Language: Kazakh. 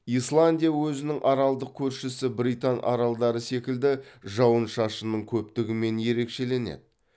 исландия өзінің аралдық көршісі британ аралдары секілді жауын шашынның көптігімен ерекшеленеді